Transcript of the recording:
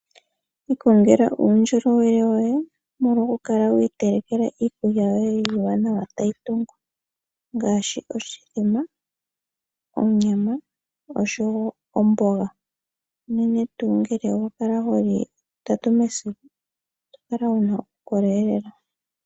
Ikongela uundjolowele woye molwa okukala wiiteleke iikulya yoye iiwanawa tayi tungu, unene tuu oshithima, onyama oshowo omboga. Unene tuu ngele wa kala ho li lutatu mesiku oho kala wu na uukolele lela.